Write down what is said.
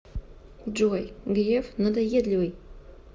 джой греф надоедливый